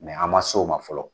Mɛ an ma so o ma fɔlɔ